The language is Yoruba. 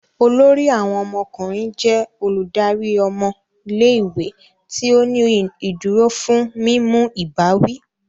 Olórí awon ọmọkùnrin jẹ Olùdarí ọmọ ilé-ìwé tí o ní ìdúró fún mímú ìbáwí